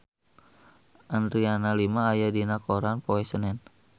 Adriana Lima aya dina koran poe Senen